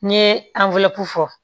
N ye fɔ